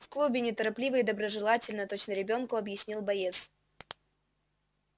в клубе неторопливо и доброжелательно точно ребёнку объяснил боец